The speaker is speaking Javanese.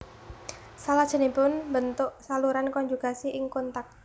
Salajengipun mbentuk saluran konjugasi ing kontak